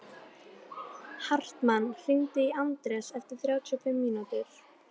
Hartmann, hringdu í Anders eftir þrjátíu og fimm mínútur.